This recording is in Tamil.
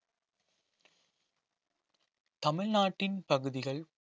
தமிழ்நாட்டின் பகுதிகள்